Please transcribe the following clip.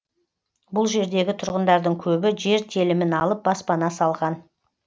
бұл жердегі тұрғындардың көбі жер телімін алып баспана салған